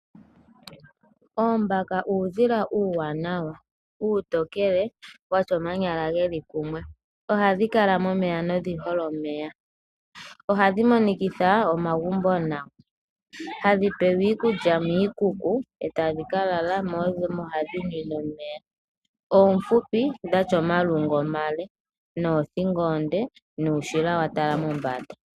Oombaka uudhila uuwanawa. Uutokele watya omanyala geli kumwe. Ohadhi kala momeya nodhi hole omeya. Ohadhi monikatha omagumbo nawa . Hadhi pewa iikulya miikuku etadhi kalala mo odho hadhi ninwe omeya. Oofupi dhatya omilungu omile noothingo oonde nuushila watala mombanda.